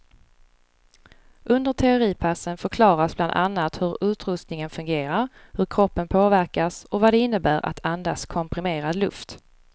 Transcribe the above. Under teoripassen förklaras bland annat hur utrustningen fungerar, hur kroppen påverkas och vad det innebär att andas komprimerad luft.